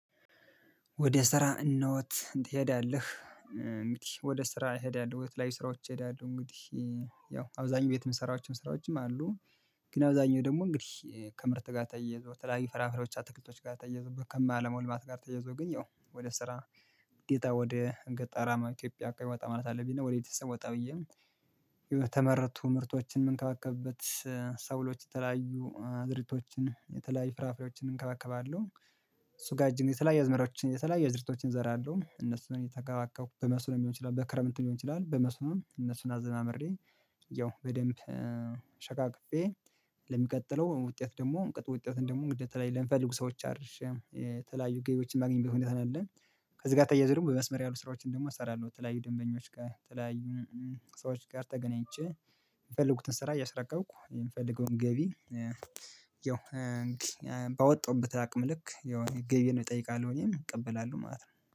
ወደ ስራ እንዴት ትሄዳለህ? እንግዲህ ወደ ስራ ሄዳለሁ የተለያዩ ስራዎች ሄዳለሁ እንግዲህ ያው አብዛኛው ቤት የምሰራው ስራዎችም አሉ። ግን አብዛኛው ደግሞ እንግዲህ ከምርት ጋር ተያይዞ የተለያዩ ፍራፍሬዎች አትክልቶች ጋር ተያይዞ ከማለማው ልማት ጋር ተያይዞ ግን ያው ወደ ስራ ግዴታ ወደ ገጠራማ ኢትዮጵያ አካባቢ ወጣ ማለት አለብኝ ነው። ከቤተሰብ ወጣ ብዬ የተመረቱ ምርቶችን ምንከባከብበት። ሰብሎች የተለያዩ ዝርያዎችን የተለያዩ ፍራፍሬዎችን እንከባከባለሁ። እሱ ጋር እጅግ የተለያየ አዝማሪዎችን የተለያየ አዝርቶችን እዘራለሁ እነሱን እየተንከባከብኩ በመስኖ ሊሆን ይችላል በክረምት ሊሆን ይችላል በመስኖም እነሱን አዘማምሬ። ያው በደንብ ሸካክፌ። ለሚቀጥለው ውጤት ደግሞ ውጤት ደግሞ ግዴታ ለሚፈልጉ ሰዎች አድርሼ የተለያዩ ገቢዎችን የማገኝበት ሁኔታ ነው ያለው። ከዚህ ጋር ተያይዞ ደግሞ በመስመር ያሉ ስራዎችን ደግሞ እሰራለሁ። የተለያዩ ደንበኞች ጋር የተለያዩ ሰዎች ጋር ተገናኝቼ የፈለኩትን ስራ እያስረከብኩ የምፈልገውን ገቢ። ያው ባወጣዉበት አቅም ልክ የሆነ ገቢን እጠይቃለሁ እኔም እቀበላለሁ ማለት ነው